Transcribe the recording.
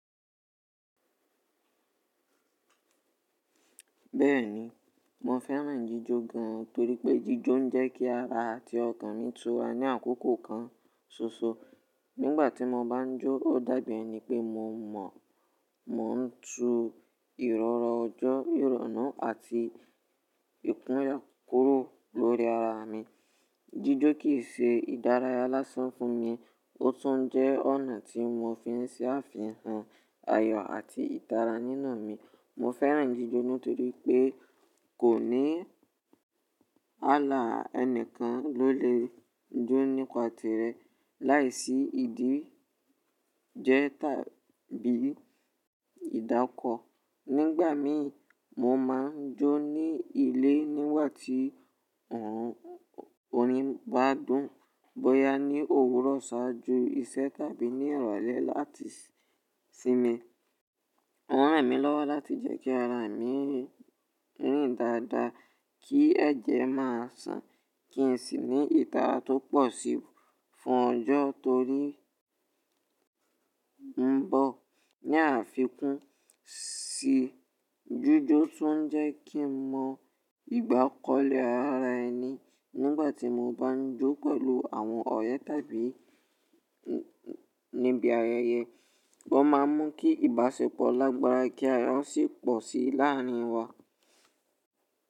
Bẹ́ẹ̀ni, mo fẹ́ràn jíjó gan torípé jíjó ń jẹ́ kí ara àti ọkàn mi túra ní àkókò kan ṣoṣo. Nígbàtí mo bá jó, ó dàbí ẹni pé mo mọ̀, mò ń tu ìrọ̀rù ọjọ́, ìrọ̀ná àti ìpọ́nle kúrò lórí ara mi. Jíjó kìí ṣe ìdárayá lásán fún mi, ó tún jẹ́ ọ̀nà tí mo fi ń ṣàfihàn ayọ̀ àti ìtara nínu mi. Mo fẹ́ràn jíjó nítorí pé kò ní ààlà ẹnìkan ló lè jó nípa tìrẹ láìsí ìdí jẹ tàbí ìdákọ. Nígbàmíì mo máa ń jó ní ilé nígbà tí òrin bá dùn, bóyá ní òwúrọ̀ ṣáájú iṣẹ́ tàbí ní ìrọ̀lẹ́ láti sinmi. Ó ràn mí lọ́wọ́ láti jẹ́ kí ara mi rìn dáadáa, kí ẹ̀jẹ̀ máa sàn, kí n sì ní ìtara tó pọ̀ síi fún ọjọ́ torí ó ń bọ̀. Ni àfikún sì, jíjó tún ń jẹ́ kí n mọ ìgbákọlẹ̀ ara ẹni. Nígbàtí mo bá ń jó pẹ̀lú àwọn ọ̀rẹ́ tàbí níbi ayẹyẹ, ó má ń mú kí ìbáṣepọ̀ lágbára kí wọ́n sì pọ̀ sí i láàrin wa.